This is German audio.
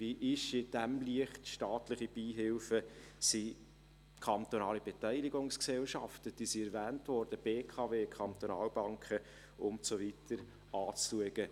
Wie sind in diesem Licht staatliche Beihilfen und kantonale Beteiligungsgesellschaften – diese wurden erwähnt: BKW, Kantonalbanken und so weiter – zu betrachten?